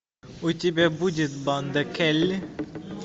у тебя будет банда келли